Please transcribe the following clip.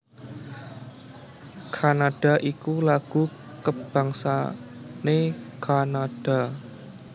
Canada iku lagu kabangsané Kanada